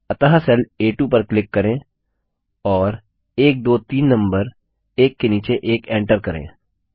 अतः सेल आ2 पर क्लिक करें और 123 नम्बर एक के नीचे एक एन्टर करें